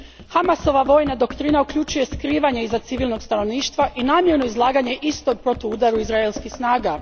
Hamasova vojna doktrina uključuje skrivanje iza civilnog stanovništva i namjerno izlaganje istog protuudaru izraelskih snaga.